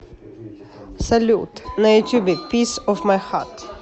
салют на ютубе пис оф май хат